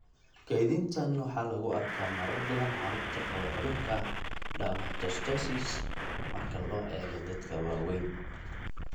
Kaydintan waxaa lagu arkaa marar badan carruurta qaba cudurka dermatomyositis marka loo eego dadka waaweyn.